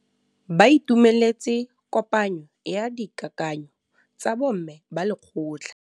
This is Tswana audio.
Ba itumeletse kôpanyo ya dikakanyô tsa bo mme ba lekgotla.